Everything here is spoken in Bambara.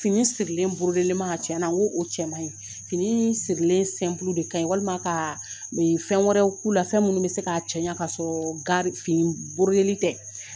Fini sirilen tiɲɛ na n ko o cɛ man ɲi fini sirilen de ka ɲi walima ka fɛn wɛrɛw k'u la fɛn minnu bɛ se k'a cɛ ɲɛ k'a sɔrɔ gari fini tɛ